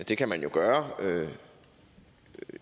det kan man jo gøre